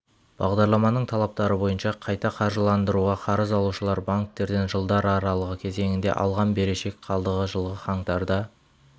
бағдарламаның талаптары бойынша қайта қаржыландыруға қарыз алушылар банктерден жылдар аралығы кезеңінде алған берешек қалдығы жылғы қаңтарда